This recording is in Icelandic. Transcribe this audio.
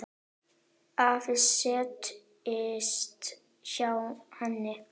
Afi settist hjá henni.